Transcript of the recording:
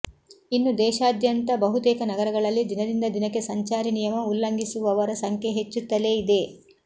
ಇನ್ನು ದೇಶಾದ್ಯಂತ ಬಹುತೇಕ ನಗರಗಳಲ್ಲಿ ದಿನದಿಂದ ದಿನಕ್ಕೆ ಸಂಚಾರಿ ನಿಯಮ ಉಲ್ಲಂಘಿಸುವವರ ಸಂಖ್ಯೆ ಹೆಚ್ಚುತ್ತಲೇ ಇದೆ